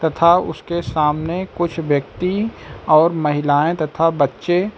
था उसके सामने कुछ व्यक्ति और महिलाएं तथा बच्चे--